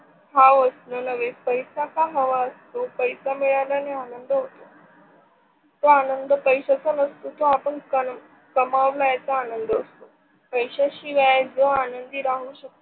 पैसा का हवा असतो? पैसा मिळल्याणणे आनंद होत तो आनंद पैश्याचा नसतो तो आपण कामावल्याचा असतो. पैशाशिवाय जो आनंदी राहू शकतो.